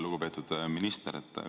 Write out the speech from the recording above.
Lugupeetud minister!